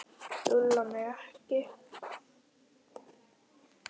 Lúlli á mig ekki.